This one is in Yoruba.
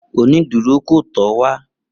Oniduro ko tọ ọ wá